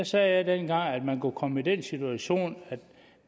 sagde at man kunne komme i den situation